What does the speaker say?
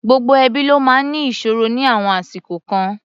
Gbogbo ẹbí ló máa ń ní ìṣòro ní àwọn àsìkò kan.